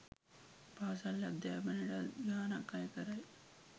පාසල් අධ්‍යාපනයටත් ගානක් අය කරයි.